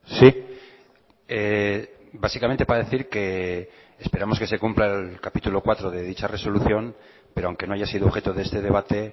sí básicamente para decir que esperamos que se cumpla el capítulo cuarto de dicha resolución pero aunque no haya sido objeto de este debate